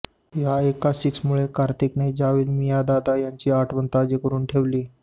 या एका सिक्सरमुळे कार्तिकने जावेद मियांदाद यांची आठवण ताजी करून ठेवली